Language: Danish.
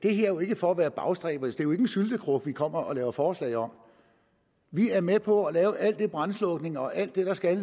er jo ikke for at være bagstræberisk jo ikke en syltekrukke vi kommer og laver forslag om vi er med på at lave al den brandslukning og alt det der skal